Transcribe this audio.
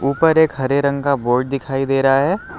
ऊपर एक हरे रंग का बोर्ड दिखाई दे रहा है।